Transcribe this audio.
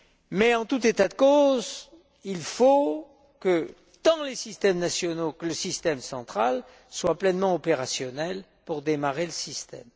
Mais en tout état de cause, il faut que tant les systèmes nationaux que le système central soient pleinement opérationnels pour démarrer le système.